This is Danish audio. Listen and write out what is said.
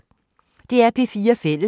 DR P4 Fælles